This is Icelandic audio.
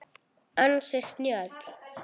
Ansi snjöll!